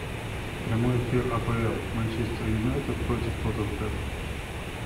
прямой эфир апл манчестер юнайтед против тоттенхэма